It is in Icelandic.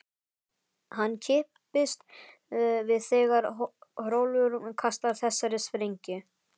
Hann kippist við þegar Hrólfur kastar þessari sprengju.